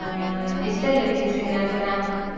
ആഹ് ഇഷ്ട്ടല്ലേ വിനീത് ശ്രീനിവാസന